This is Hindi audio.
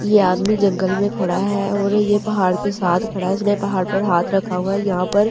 यह आदमी जंगल में खड़ा है और यह पहाड़ के साथ खड़ा है इसने पहाड़ पर हाथ रखा हुआ है यहां पर पहाड़।